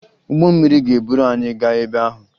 Ụgbọ mmiri ga-eburu anyị gaa ebe ahụ